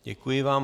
Děkuji vám.